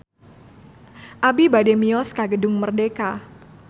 Abi bade mios ka Gedung Merdeka